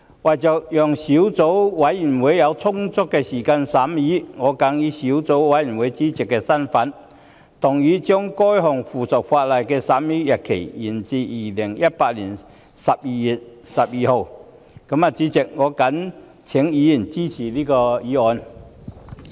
為了讓小組委員會有充足時間進行審議工作，我謹以小組委員會主席的身份動議議案，將該項附屬法例的審議期限延展至2018年12月12日的立法會會議。